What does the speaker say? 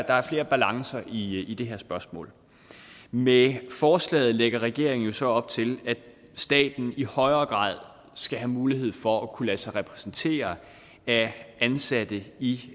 er flere balancer i det her spørgsmål med forslaget lægger regeringen jo så op til at staten i højere grad skal have mulighed for at kunne lade sig repræsentere af ansatte i